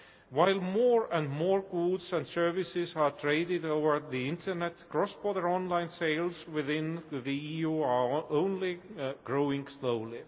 While more and more goods and services are traded over the internet, cross border online sales within the EU are only growing slowly.